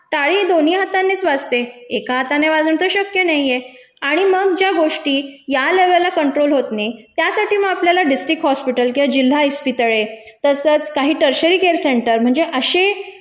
टाळी दोन्ही हातांनीच वाजते, एका हाताने वाजवणं तर शक्य नाहीये. आणि मग ज्या गोष्टी या लेवलला कंट्रोल होत नयी त्यासाठी म आपल्याला डिस्ट्रिक्ट हॉस्पिटल किंवा जिल्हा इस्पितळे तसच काही टरशरी केअर सेंटर म्हणजे अशे